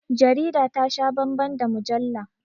Jarida ta sha bambam da mujalla